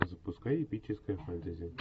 запускай эпическое фэнтези